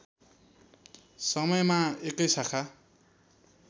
समयमा एकै शाखा